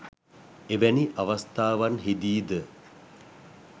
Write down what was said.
එවැනි අවස්ථාවන්හිදී ද